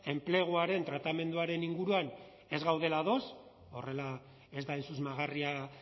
enpleguaren tratamenduaren inguruan ez gaudela ados horrela ez da hain susmagarria